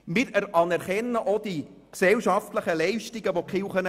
Wir anerkennen auch die gesellschaftlichen Leistungen, die die Kirchen erbringen.